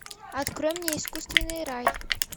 открой мне искусственный рай